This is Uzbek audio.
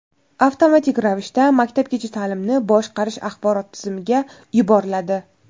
avtomatik ravishda Maktabgacha ta’limni boshqarish axborot tizimiga yuboriladi.